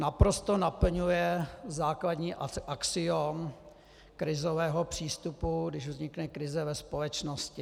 Naprosto naplňuje základní axiom krizového přístupu, když vznikne krize ve společnosti.